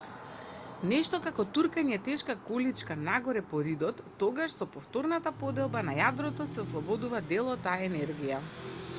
нешто како туркање тешка количка нагоре по ридот тогаш со повторната поделба на јадрото се ослободува дел од таа енергија